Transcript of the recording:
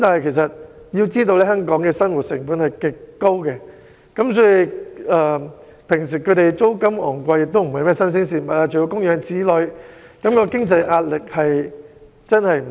然而，要知道香港的生活成本非常高，租金高昂並非甚麼新鮮事，供養子女的經濟壓力也十分大。